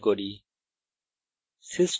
এখন এই message print করি